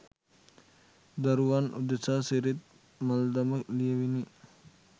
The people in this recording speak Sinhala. දරුවන් උදෙසා සිරිත් මල්දම ලියවිනි.